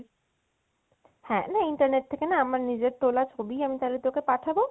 হ্যাঁ তাহলে internet থেকে না আমার নিজের তোলা ছবি আমি তোকে পাঠাবো